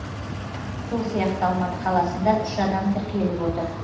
сол сияқты алматы қаласында үш адам тіркеліп отыр